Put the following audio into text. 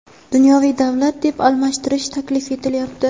dunyoviy davlat deb almashtirish taklif etilyapti.